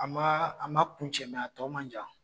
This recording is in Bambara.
A ma kuncɛ tɔw a tɔ ma jan.